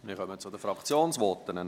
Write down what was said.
Wir kommen zu den Fraktionsvoten.